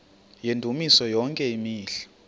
yendumiso yonke imihla